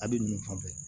A bɛ ninnu fan bɛɛ